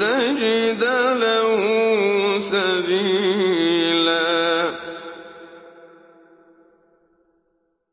تَجِدَ لَهُ سَبِيلًا